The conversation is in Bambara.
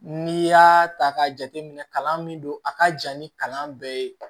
N'i y'a ta k'a jateminɛ kalan min don a ka ja ni kalan bɛɛ ye